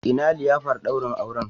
Ina liyafar daurin aure?